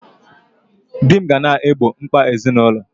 Di m ga na-egbo mkpa ezinụlọ